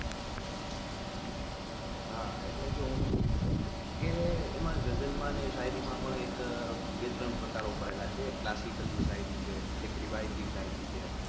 હા એટલે જો હું તમને એ જ કહું છું કકે એમાં ગઝલ માં ને શાયરી માં પણ એક બે ત્રણ પ્રકારો પડેલા છે એક classic શાયરી છે એક રીવાયાતી શાયરી છે.